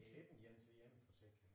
Det ikke en én til én forsikring